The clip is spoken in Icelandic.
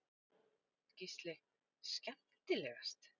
Gísli:. skemmtilegast?